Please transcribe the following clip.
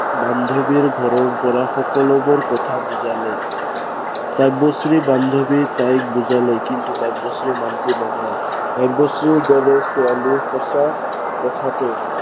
বান্ধৱীৰ ঘৰৰ পৰা সকলোবোৰ কথা বুজালে। কাব্যশ্ৰীৰ বান্ধৱীয়ে তাইক বুজালে, কিন্তু কাব্যশ্ৰী মান্তি নহল। কাব্যশ্ৰীৰ দৰে ছোৱালী সঁচা কথাটো